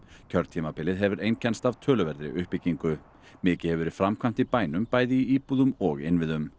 kjörtímabilið hefur einkennst af töluverðri uppbyggingu mikið hefur verið framkvæmt í bænum bæði í íbúðum og innviðum